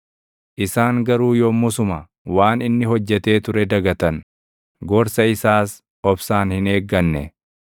Isaan garuu yommusuma waan inni hojjetee ture dagatan; gorsa isaas obsaan hin eegganne.